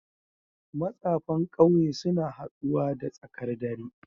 matsafan kauye suna haduwa da tsakar dare